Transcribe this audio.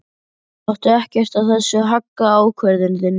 Láttu ekkert af þessu hagga ákvörðun þinni.